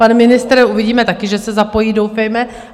Pan ministr, uvidíme, taky že se zapojí, doufejme.